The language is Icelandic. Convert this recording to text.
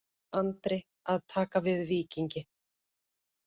Andri að taka við Víkingi